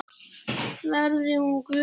Verði hún Guði falin.